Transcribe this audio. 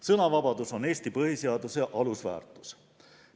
Sõnavabadus on Eesti põhiseaduse alusväärtus.